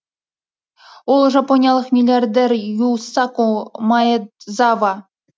ол жапониялық миллиардер юсаку маэдзава